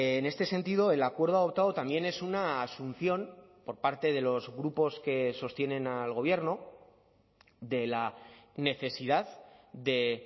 en este sentido el acuerdo adoptado también es una asunción por parte de los grupos que sostienen al gobierno de la necesidad de